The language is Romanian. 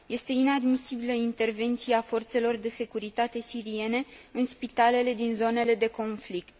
Este inadmisibilă intervenția forțelor de securitate siriene în spitalele din zonele de conflict.